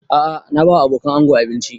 A'a na ba wa abokanan ango abinci